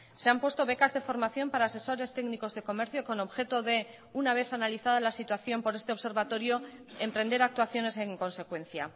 se han puesto becas de formación para asesores técnicos de comercio con objeto de una vez analizada la situación por este observatorio emprender actuaciones en consecuencia